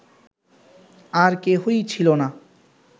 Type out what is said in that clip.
আর কেহই ছিল না